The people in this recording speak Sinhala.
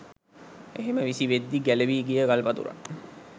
එහෙම විසිවෙද්දී ගැලවී ගිය ගල්පතුරක්